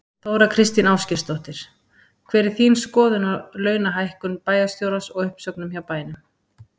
Þóra Kristín Ásgeirsdóttir: Hver er þín skoðun á launahækkun bæjarstjórans og uppsögnum hjá bænum?